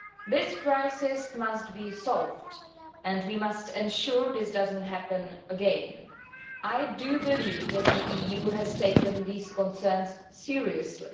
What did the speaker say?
This crisis must be solved and we must ensure that it does not happen again. I believe that the EU has taken these concerns seriously.